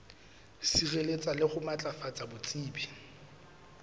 sireletsa le ho matlafatsa botsebi